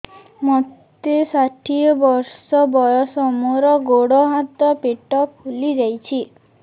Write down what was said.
ମୋତେ ଷାଠିଏ ବର୍ଷ ବୟସ ମୋର ଗୋଡୋ ହାତ ପେଟ ଫୁଲି ଯାଉଛି